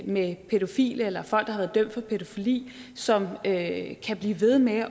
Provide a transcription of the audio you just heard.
med pædofile eller folk der har været dømt for pædofili som kan blive ved med